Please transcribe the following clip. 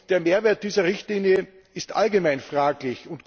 Der Mehrwert dieser Richtlinie ist allgemein fraglich.